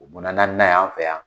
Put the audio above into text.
o ye naanina y'an fɛ yan